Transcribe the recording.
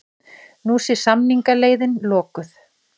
Nú sé samningaleiðin lokuð